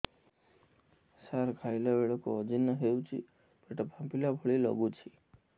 ସାର ଖାଇଲା ବେଳକୁ ଅଜିର୍ଣ ହେଉଛି ପେଟ ଫାମ୍ପିଲା ଭଳି ଲଗୁଛି